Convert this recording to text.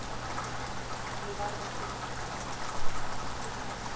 Henni varð ekki meint af.